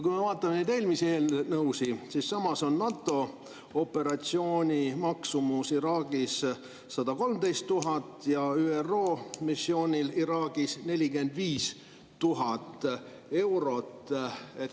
Kui me vaatame neid eelmisi eelnõusid, siis näeme, et samas on NATO operatsiooni maksumus Iraagis 113 000 ja ÜRO missiooni maksumus Iraagis 45 000 eurot.